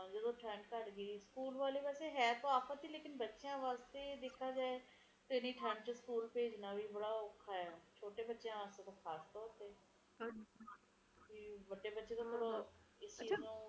ਹਾਂ ਨੀ ਓਦੋ ਤੋਂ ਲਊਗੀ ਓਦੋ ਓਦੋ ਤੋਂ ਲਊਗੀ ਓਦੋ ਲਊਗੀ ਛੁੱਟੀਆਂ ਜਦੋ ਮੈਂ